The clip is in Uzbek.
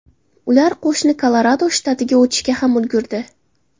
Ular qo‘shni Kolorado shtatiga o‘tishga ham ulgurdi.